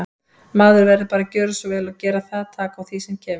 Maður verður bara að gjöra svo vel og gera það, taka á því sem kemur.